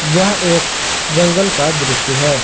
यह एक जंगल का दृश्य है।